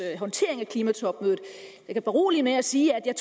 håndtering af klimatopmødet jeg kan berolige med at sige at jeg